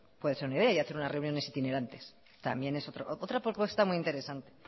puede ser una idea y hacer unas reuniones itinerantes también es otra propuesta muy interesante